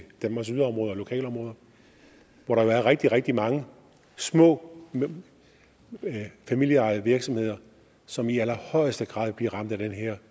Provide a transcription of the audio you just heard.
danmarks yderområder og lokalområder hvor der jo er rigtig rigtig mange små familieejede virksomheder som i allerhøjeste grad bliver ramt af dette her